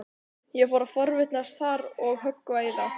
Ég fór að forvitnast þar og höggva í þá.